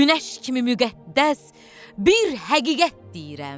Günəş kimi müqəddəs bir həqiqət deyirəm.